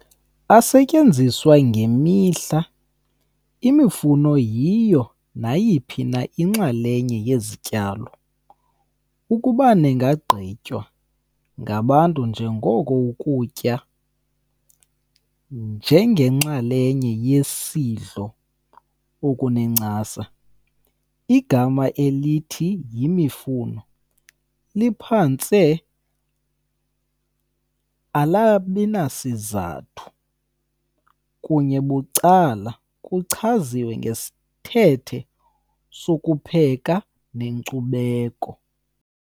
Asetyenziswa ngemihla, imifuno yiyo nayiphi na inxalenye yesityalo ukuba ningagqitywa ngabantu njengoko ukutya njengenxalenye yesidlo okunencasa. Igama elithi "yemifuno" liphantse engenasizathu, kunye becala kuchaziwe ngesithethe okupheka nenkcubeko.